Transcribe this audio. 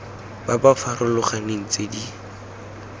ba ba farologaneng tse di